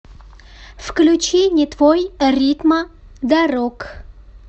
включи не твой ритма дорог